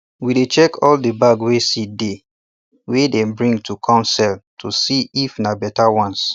we dey check all de bag wey seed dey wey dey bring to com sell to see if na better ones